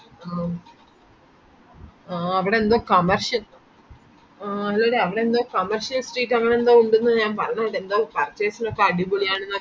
അവിടെന്തോ കമാർഷ്‌ ആ അവിടെന്തോ കമാർഷ്‌ street അങ്ങേനെന്തോ ഉണ്ട് ന്ന് ഞാൻ പറയണകെട്ടെ